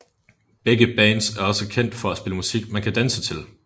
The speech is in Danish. Begge bands er også kendt for at spille musik som man kan danse til